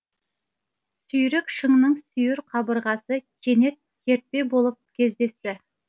сүйрік шыңның сүйір қабырғасы кенет кертпе болып кездесті